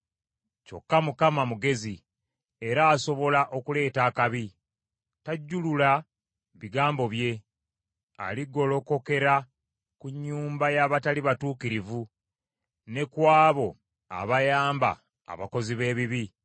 Kyokka Mukama mugezi era asobola okuleeta akabi; tajjulula bigambo bye. Aligolokokera ku nnyumba y’abatali batuukirivu, ne ku abo abayamba abakozi b’ebibi.